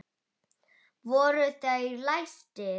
Voru þeir læstir.